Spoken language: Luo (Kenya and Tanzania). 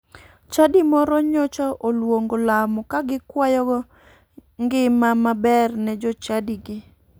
Chadi moro nyocha oluongo lamo ka gikwayogo ngima mabe ne jochadigi.